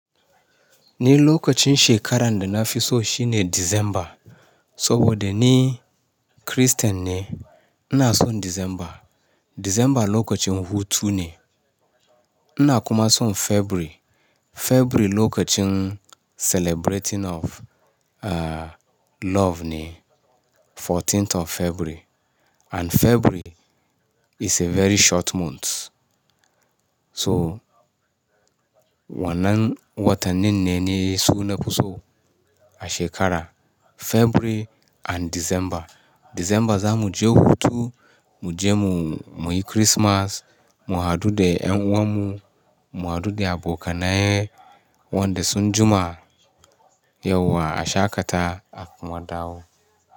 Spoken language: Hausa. Ni lokacin shekaran da na fi so shine December. Saboda ni Christian ne, ina son December. December lokacin hutu ne. Na kuma son February. February lokacin celebrating of, uh, love ne. 14Th of February. And February is a very short month. So, wannan watannin ne na yi su na fi so a shekara, February and December. December za mu je hutu, mu je mu, mu yi Christmas, mu haɗu da 'ƴan uwan mu, mu haɗu da abokanai, wanda sun jima, yauwa a shaƙata a kuma dawo.